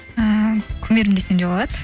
ааа кумирім десем де болады